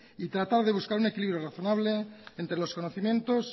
y tratar de buscar un equilibrio razonable entre los conocimientos